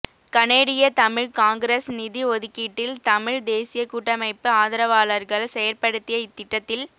கனேடிய தமிழ் காங்கிரஸ் நிதி ஒதுக்கீட்டில் தமிழ் தேசிய கூட்டமைப்பு ஆதரவாளர்கள் செயற்படுத்திய இத்திட்டத்தில்